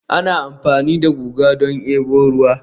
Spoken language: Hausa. ana amfani da guga don debo ruwa